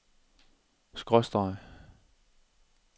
skråstreg